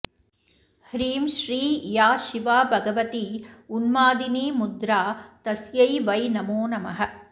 ह्रीं श्री या शिवा भगवती उन्मादिनीमुद्रा तस्यै वै नमो नमः